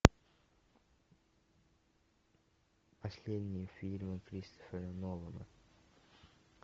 последние фильмы кристофера нолана